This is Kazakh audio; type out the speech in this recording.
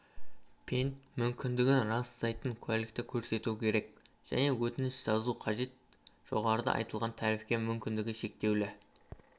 пен мүгедектігін растайтын куәлікті көрсету керек және өтініш жазу қажет жоғарыда айтылғандай тарифке мүмкіндігі шектеулі